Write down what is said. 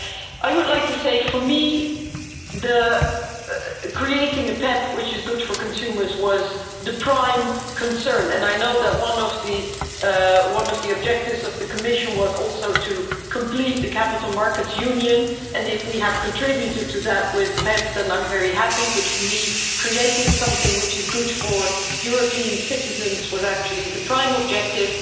I would like to say that for me, creating a PEPP which is good for consumers was the prime concern, and I know that one of the objectives of the Commission was also to complete the capital markets union and if we have contributed to that with PEPP then I'm very happy, but for me creating something which is good for European citizens was actually the prime objective.